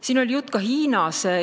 Siin oli juttu Hiinast.